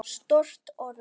Stórt orð.